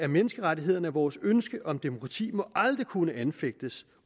menneskerettighederne og vores ønske om demokrati må aldrig kunne anfægtes